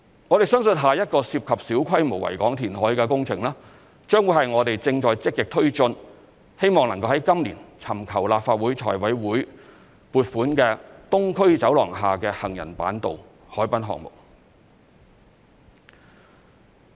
我們相信下一個涉及小規模維港填海的工程，將會是我們正在積極推進、希望能夠在今年尋求立法會財務委員會撥款的"東區走廊下之行人板道"海濱項目。